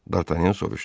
Dartanyan soruşdu.